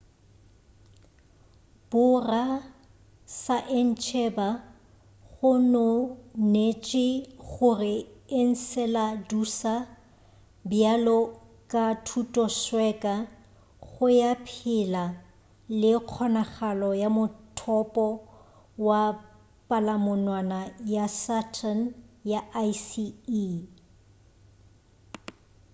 borasaentsheba gononetše gore enceladusa bjalo ka thutosweka ya go phela le kgonagalo ya mothopo wa palamonwana ya saturn ya icy e